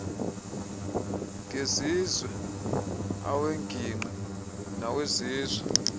ngezizwe aweengingqi nawesizwe